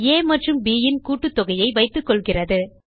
ஆ மற்றும் bன் கூட்டுத்தொகையை வைத்துக்கொள்கிறது